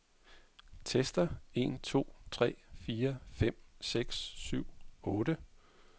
Tester en to tre fire fem seks syv otte.